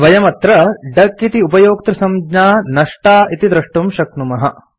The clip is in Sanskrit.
वयम् अत्र डक इति उपयोक्तृसंज्ञा नष्टा इति द्रष्टुं शक्नुमः